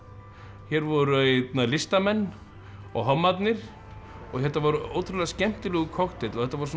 hér voru listamenn og hommarnir og þetta var ótrúlega skemmtilegur kokteill og þetta var